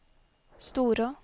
Storå